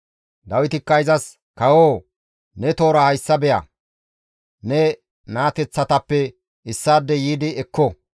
Dawitikka izas, «Kawoo ne toora hayssa beya; ne naateththatappe issaadey yiidi ekko.